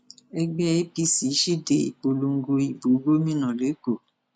ẹgbẹ apc síde ìpolongo ìbò gómìnà lẹkọọ